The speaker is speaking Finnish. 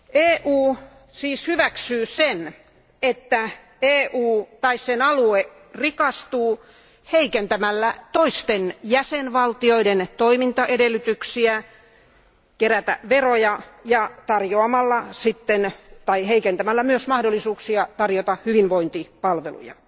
EU siis hyväksyy sen, että EU tai sen alue rikastuu heikentämällä toisten jäsenvaltioiden toimintaedellytyksiä kerätä veroja ja heikentämällä mahdollisuuksia tarjota hyvinvointipalveluja.